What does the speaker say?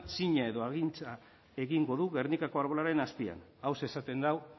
zina edo agintza egingo du gernikako arbolaren azpian hauxe esaten du